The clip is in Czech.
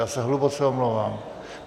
Já se hluboce omlouvám.